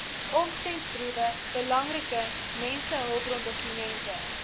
omsendbriewe belangrike mensehulpbrondokumente